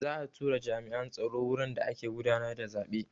Za'a tura jami'an tsaro wurin da ake gudanar da zaɓe.